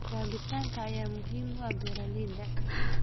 Kabitaanka ayaa muhiim u ah beeralayda.